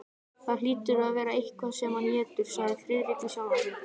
Það hlýtur að vera eitthvað sem hann étur, sagði Friðrik við sjálfan sig.